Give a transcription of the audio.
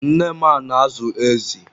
nne ma na-azụ ezi